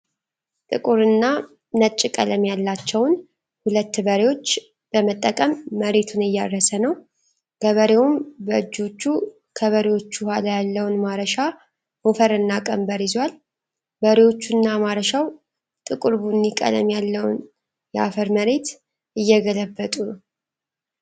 ጥቁር እና ነጭ ቀለም ያላቸውን ሁለት በሬዎች በመጠቀም መሬቱን እያረሰ ነው። ገበሬውም በእጆቹ ከበሬዎቹ ኋላ ያለውን ማረሻ ሞፈርና ቀንበር ይዟል። በሬዎቹና ማረሻው ጥቁር ቡኒ ቀለም ያለውን የአፈር መሬት እየገልበጡ ነው።